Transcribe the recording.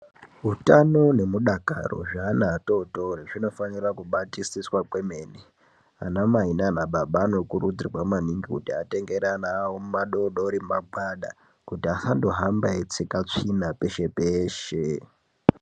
Utano nemudakaro zveana atotori zvinofanira kubatisiswa kwemene. Ana mai nana baba anokuridzirwa kuti atengere ana awo madodori magwada kuti asandohamba eitsika tsvina peshe peshe.